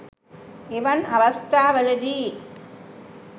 එවන් අවස්ථාවලදී